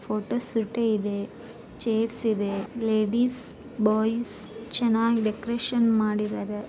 Photo ಸುಟಿ ಇದೆ chairs ಇದೆ ಲೇಡೀಸ್‌ ಬಾಯಿಸ್‌ ಚೆನ್ನಾಗಿ ಡೆಕೋರೇಶನ್‌ ಮಾಡಿದ್ದಾರೆ.